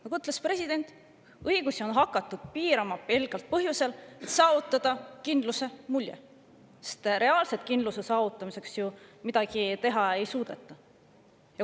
Nagu ütles president, õigusi on hakatud piirama pelgalt põhjusel, et saavutada kindluse mulje, sest reaalselt kindluse saavutamiseks ju midagi teha ei suudeta.